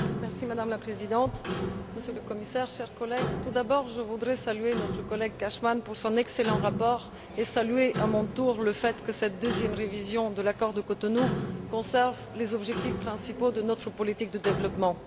Madame la Présidente, Monsieur le Commissaire, chers collègues, je voudrais tout d'abord saluer notre collègue Cashman pour son excellent rapport et saluer, à mon tour, le fait que cette deuxième révision de l'accord de Cotonou conserve les objectifs principaux de notre politique de développement.